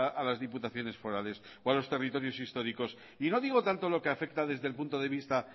a las diputaciones forales o a los territorios históricos y no digo tanto lo que afecta desde el punto de vista